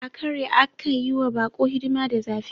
Akare aka yi wa bako hidima da zafi.